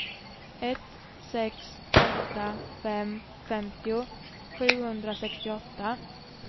ett sex åtta fem femtio sjuhundrasextioåtta